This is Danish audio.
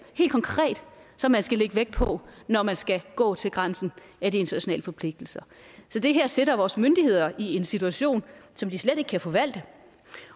helt konkret som man skal lægge vægt på når man skal gå til grænsen af de internationale forpligtelser så det her sætter vores myndigheder i en situation som de slet ikke kan forvalte